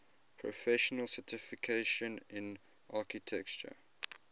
professional certification in architecture